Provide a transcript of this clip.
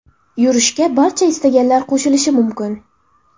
Yurishga barcha istaganlar qo‘shilishi mumkin.